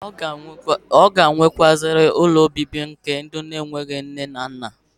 Abia nwekwazi ụlọ obibi nke ndi enwereo nne na nna.